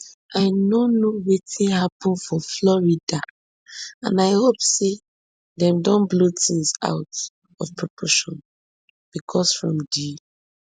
i no know wetin happun for florida and i hope say dem don blow tins out of proportion becos from di